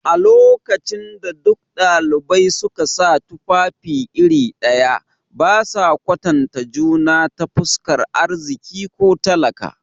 A lokacin da duk dalibai suka sa tufafi iri ɗaya, ba sa kwatanta juna ta fuskar arziki ko talaka.